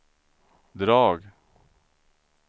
drag